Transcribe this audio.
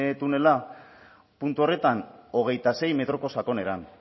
tunela puntu horretan hogeita sei metroko sakonera